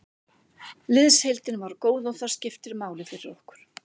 Liðsheildin var góð og það skiptir máli fyrir okkur.